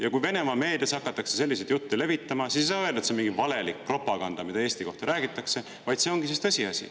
Ja kui Venemaa meedias hakatakse selliseid jutte levitama, siis ei saa öelda, et see on mingi valelik propaganda, mida Eesti kohta räägitakse, vaid see ongi siis tõsiasi.